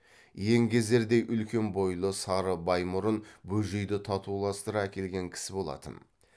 еңгезердей үлкен бойлы сары баймұрын бөжейді татуластыра әкелген кісі болатын